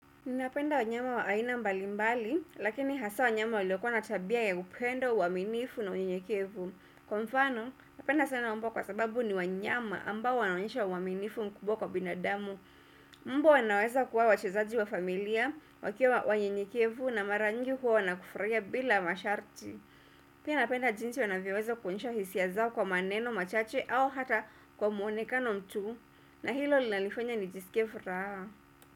Ninapenda wanyama wa aina mbali mbali, lakini hasa wanyama walokua na tabia ya upendo, uaminifu na unyenyekevu. Kwa mfano, napenda sana mbwa kwa sababu ni wanyama ambao wanaonyesha uaminifu mkubwa kwa binadamu. Mbwa wanaweza kuwa wachezaji wa familia, wakiwa wanyenyekevu na mara nyingi huwa wanakufurahia bila masharti. Pia napenda jinsi wanavyoweza kuonyesha hisia zao kwa maneno, machache au hata kwa muonekano tu. Na hilo linalifanya nijisikie furaha.